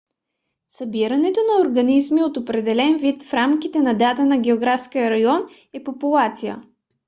събирането на организми от определен вид в рамките на даден географски район е популация